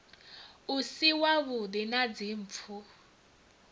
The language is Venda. u si wavhuḓi na dzimpfu